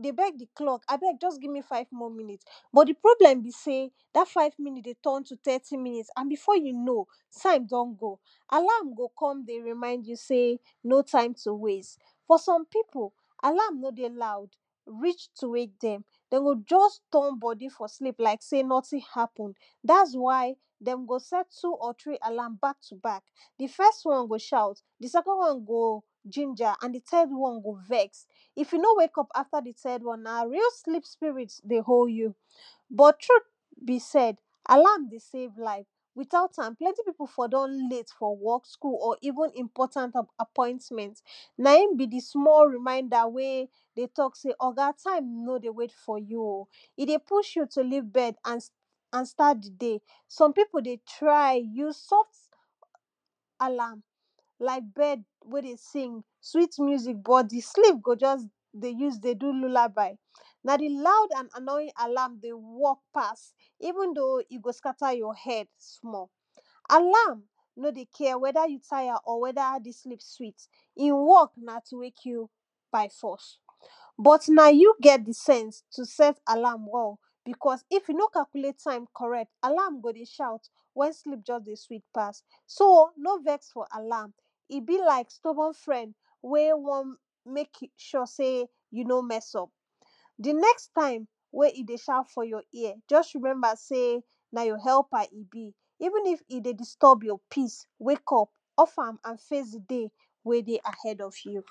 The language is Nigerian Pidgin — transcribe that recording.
dey beg di clock abeg give me five more minute, but di problem be sey dat five more munites dey fit turn to thirty munites and before you know time don go, alarm dey come to remind you sey no time to waste. for some people alarm nor dey loud reach to wake dem, dem go just turn body for sleep like sey nothing happen. dats why dem go set up to three alarm back to back di first one go shout, di second one ginger and di third one go vex. if you nor wake up after di third one na real sleep spirit dey hold you. but truth be said; alarm dey save life without am plenty people for don late for work, school or even important appointment. na im be di small reminder wen dey talk sey oga time nor dey wait for you oh, e dey push you to leave bed and and start di day. some people dey try use soft alarm like bird when dey sing sweet music but di sleep go just dey use dey do lullaby. na di loud and annoying alarm dey work pass, even though e go scatter your head small. alarm nor dey care wether you tire or wether di sleep sweet, e work na to wake you by force. but na you get di sense to set alarm well, because if you nor calculate time correct alarm go dey shout when sleep just dey sweet pass. so nor vex for alarm, e be like stuborn friend wey want make sure sey you nor mess up. di next time wey e dey shout for your ear, just remember sey na your helper e be. even if e dey disturb your peace wake up. off am and face day wey dey ahead of you.